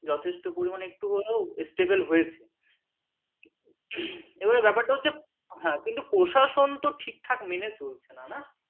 এই এখন যথেষ্ট পরিমাণে একটু হলেও stable হয়েছে এবারে ব্যাপার টা হচ্ছে কিন্তু প্রশাসন তো ঠিকঠাক মেনে চলছে না না